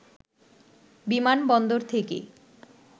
বিমানবন্দর থেকে